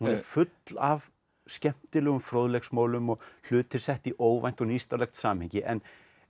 full af skemmtilegum fróðleiksmolum og hlutir settir í óvænt og nýstárlegt samhengi en